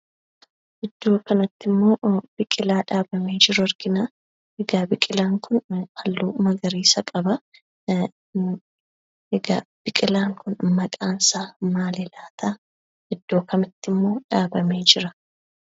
Iddoo kanattimmoo biqilaa dhaabamee jiru arginaa. Egaa biqilaan kun halluu magariisa qabaa. Egaa biqilaan kun maqaansaa maali laataa? Iddoo kamittimmoo dhaabamee jira?